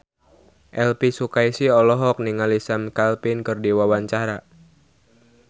Elvy Sukaesih olohok ningali Sam Claflin keur diwawancara